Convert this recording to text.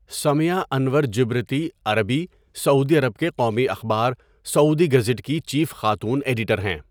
سمیہ انور جبرتی عربی، سعودی عرب کے قومی اخبار ، سعودی گزٹ کی چیف خاتون ایڈیٹر ہیں.